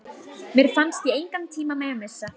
Mér fannst ég engan tíma mega missa.